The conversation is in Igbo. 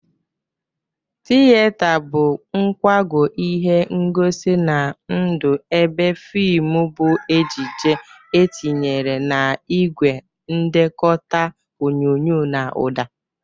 Tiyeta bụ nkwago ihe ngosi na ndụ ebe fimụ bụ ejije etinyere n'igwe ndekọta onyonyo na ụda.